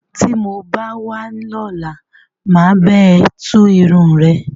Tí mo bá wá lọ́la. Mà á bá ẹ tú irun rẹ.